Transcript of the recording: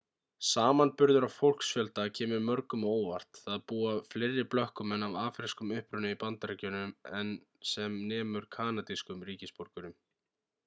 samanburður á fólksfjölda sem kemur mörgum á óvart það búa fleiri blökkumenn af afrískum uppruna í bandaríkjunum en sem nemur kanadískum ríkisborgurum